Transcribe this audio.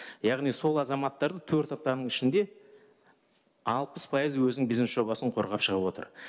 яғни сол азаматтардың төрт аптаның ішінде алпыс пайызы өзінің бизнес жобасын қорғап шығып отыр